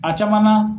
A caman na